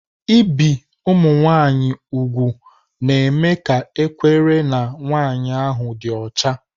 Ibi ụmụ nwanyị úgwù na-eme ka ekwere na nwanyị ahụ dị ọcha.